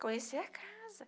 Conhecer a casa.